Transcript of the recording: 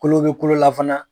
Kolo bɛ kolo la fana